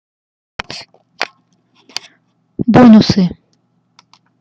бонусы